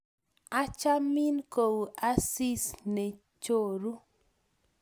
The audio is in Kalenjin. achamin ko u asis ne choru